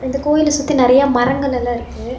இந்த கோயில சுத்தி நெறைய மரங்கள் எல்லா இருக்கு.